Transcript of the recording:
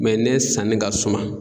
Mɛ ne sanni ka suma